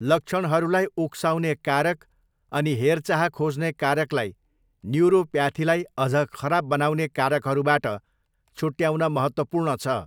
लक्षणहरूलाई उक्साउने कारक, अनि हेरचाह खोज्ने कारकलाई न्यूरोप्याथीलाई अझ खराब बनाउने कारकहरूबाट छुट्याउन महत्त्वपूर्ण छ।